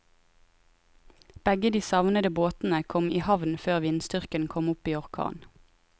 Begge de savnede båtene kom i havn før vindstyrken kom opp i orkan.